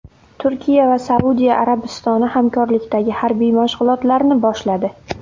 Turkiya va Saudiya Arabistoni hamkorlikdagi harbiy mashg‘ulotlarni boshladi.